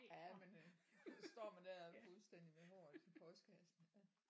Ja men øh så står man der fuldstændig med håret i postkassen ja